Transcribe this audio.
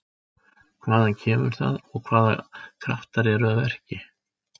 Hvaðan kemur það og hvaða kraftar eru að verki?